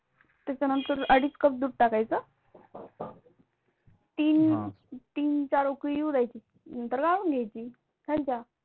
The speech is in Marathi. त्याच्यानंतर अडीच Cup दूध टाकायचं. तीन-चार उकळी येऊ द्यायची नंतर गाळून घ्यायची झाली चहा.